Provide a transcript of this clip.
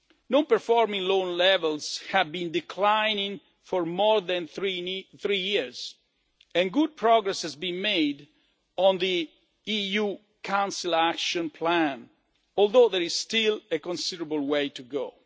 Non performing loan levels have been declining for more than three years and good progress has been made on the EU Council Action Plan, although there is still a considerable way to